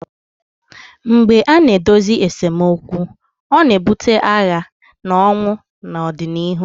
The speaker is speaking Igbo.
mgbe a na-edozighị esemokwu ọ na-ebute agha na ọnwụ n'ọdịnihu